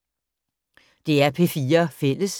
DR P4 Fælles